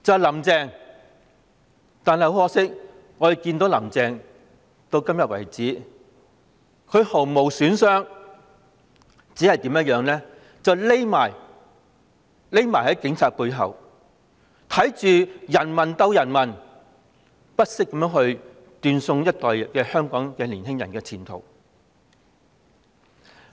很可惜，我們看到"林鄭"至今為止仍絲毫無損，只會躲在警察背後，看着人民鬥人民，不惜斷送一整代香港年青人的前途。